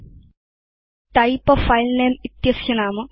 अस्य नाम type a file name इति अस्ति